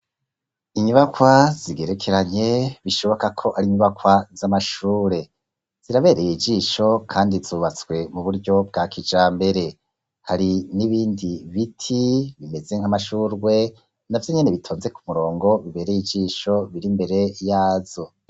Inyubakwa zigerekeranye bishoboka ko arinyubakwa z’amashure, zirabereye ijisho Kandi zubatse kuburyo bwa kijambere, hari nibindi biti bimeze nka mashurwe navyo bitonze kumurongo niberey ijisho bitonze imbere yazo.